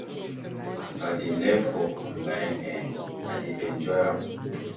as i dey learn for online[um]i dey enjoy am